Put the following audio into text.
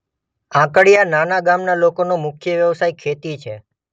આંકડીયા નાના ગામના લોકોનો મુખ્ય વ્યવસાય ખેતી